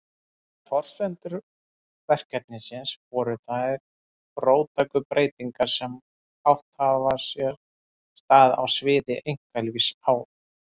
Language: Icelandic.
Forsendur verkefnisins voru þær róttæku breytingar sem átt hafa sér stað á sviði einkalífs á